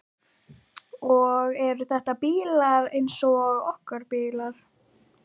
Og eru þetta bílar eins og okkar bílar?